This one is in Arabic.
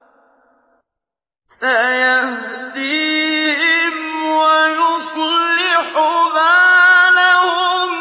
سَيَهْدِيهِمْ وَيُصْلِحُ بَالَهُمْ